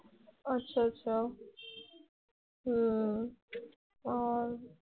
আছা আছা হম আর